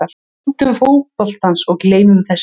Njótum fótboltans og gleymum þessu.